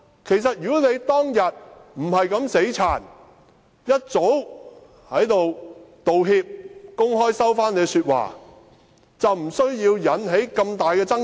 其實如果他當天不是這樣"死撐"，早已道歉，公開收回自己的說話，便不會引起這麼大的爭議。